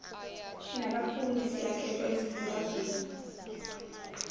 nabafundi siyakhethwa ezifundazweni